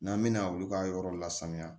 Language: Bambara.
N'an bɛna olu ka yɔrɔ lasanuya